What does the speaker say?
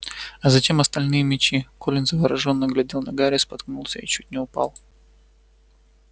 а зачем остальные мячи колин заворожённо глядел на гарри споткнулся и чуть не упал